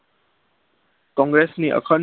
કોગ્રેસ ની અખંડ